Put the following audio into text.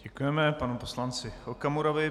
Děkujeme panu poslanci Okamurovi.